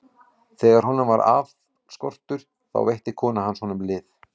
Þegar honum varð aflskortur, þá veitti kona hans honum lið.